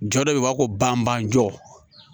Jɔ dɔ be yen o b'a fɔ ko banban jɔ